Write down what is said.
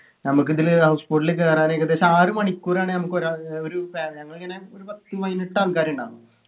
നമ്മക്കിതില് house boat ൽ കേറാൻ ഏകദേശം ആറു മണിക്കൂറാണ് നമുക്കൊരാ ഏർ ഒരു ഫാ ഞങ്ങളിങ്ങനെ ഒരു പത്തു പതിനെട്ട് ആൾക്കാര്ണ്ടാർന്നു